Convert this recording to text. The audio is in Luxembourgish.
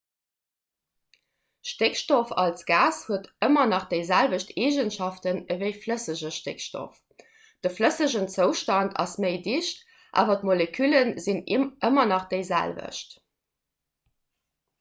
stéckstoff als gas huet ëmmer nach déi selwecht eegenschaften ewéi flëssege stéckstoff de flëssegen zoustand ass méi dicht awer d'molekülle sinn ëmmer nach déi selwecht